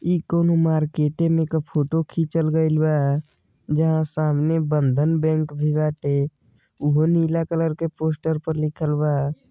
इ कौनो मार्केट में क फोटो खींचल गएल बा जहां सामने बंधन बैंक भी बाटे उहो नीला कलर के पोस्टर पर लिखल बा।